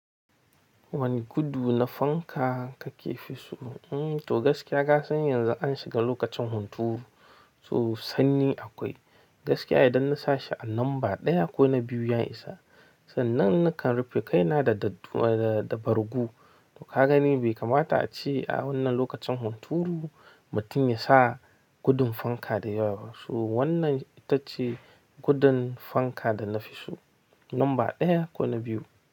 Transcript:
Wani gudu na fanka kake fi so? To gaskiya kasan yanzu an shiga lokacin hunturu, so sanyi akwai. Gaskiya idan na sa shi a lamba ɗaya ko na biyu ya isa. Sannan nakan rufe kaina da, da, da bargo. Ka gani bai kamata a ci a wannan lokacin hunturu. Mutum ya sa gudun fanka da yawa. To wannan ita ce gudun fanka da na fi so. Lamba ɗaya ko na biyu.